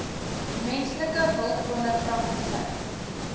menslike hulpbronne praktisyn